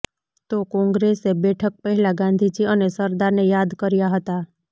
તો કોંગ્રેસે બેઠક પહેલા ગાંધીજી અને સરદારને યાદ કર્યા હતા